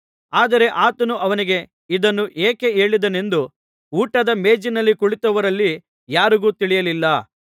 ಆದರೆ ಆತನು ಅವನಿಗೆ ಇದನ್ನು ಏಕೆ ಹೇಳಿದನೆಂದು ಊಟದ ಮೇಜಿನಲ್ಲಿ ಕುಳಿತವರಲ್ಲಿ ಯಾರಿಗೂ ತಿಳಿಯಲಿಲ್ಲ